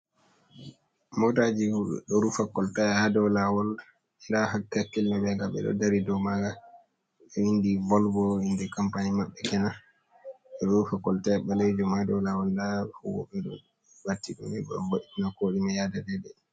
Mota ji ɗo rufa kolta ha dou lawol nda hakkil ɓe ma nga ɓeɗo dari ha dou ma nga. Ɗo vindi Volvo inde compani maɓɓe kenan. Ɓeɗo rufa colta balejum ha dou lawol nda huwoɓe ɗo ɓatti ɗum wo'tena ko ɗume yaada dei dei.